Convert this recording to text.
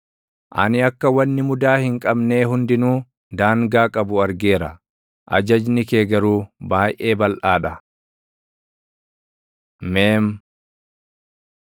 Ani akka wanni mudaa hin qabnee hundinuu daangaa qabu argeera; ajajni kee garuu baayʼee balʼaa dha. מ Meem